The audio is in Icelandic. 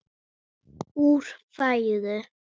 úr fæðu